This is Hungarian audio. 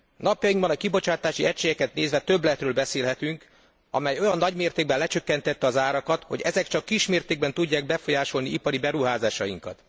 Napjainkban a kibocsátási egységeket nézve többletről beszélhetünk, amely olyan nagymértékben lecsökkentette az árakat, hogy ezek csak kismértékben tudják befolyásolni ipari beruházásainkat.